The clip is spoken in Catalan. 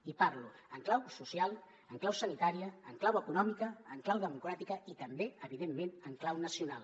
i parlo en clau social en clau sanitària en clau econòmica en clau democràtica i també evidentment en clau nacional